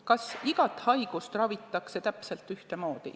Kas igat haigust ravitakse täpselt ühtemoodi?